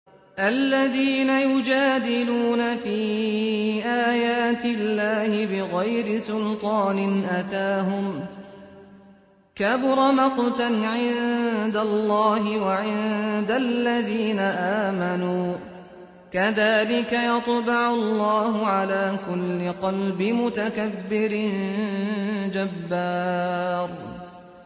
الَّذِينَ يُجَادِلُونَ فِي آيَاتِ اللَّهِ بِغَيْرِ سُلْطَانٍ أَتَاهُمْ ۖ كَبُرَ مَقْتًا عِندَ اللَّهِ وَعِندَ الَّذِينَ آمَنُوا ۚ كَذَٰلِكَ يَطْبَعُ اللَّهُ عَلَىٰ كُلِّ قَلْبِ مُتَكَبِّرٍ جَبَّارٍ